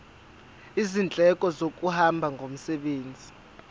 izindleko zokuhamba ngomsebenzi